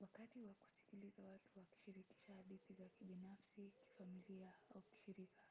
wakati wa kusikiliza watu wakishirikisha hadithi za kibinafsi kifamilia au kishirika